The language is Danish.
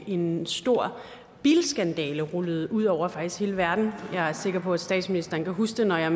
en stor bilskandale rullede ud over faktisk hele verden jeg er sikker på at statsministeren kan huske det når jeg